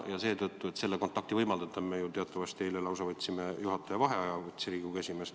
Selleks, et seda kontakti saavutada, võttis Riigikogu esimees eile ju teatavasti lausa juhataja vaheaja.